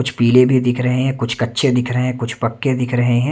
कुछ पीले भी दिख रहे हैं कुछ कच्चे दिख रहे हैं कुछ पक्के दिख रहे हैं।